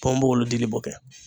Pɔnbogolo dili b'o kɛ.